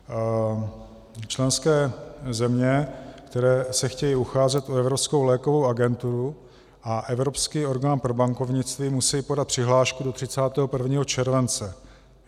Členské země, které se chtějí ucházet o Evropskou lékovou agenturu a Evropský orgán pro bankovnictví, musejí podat přihlášku do 31. července.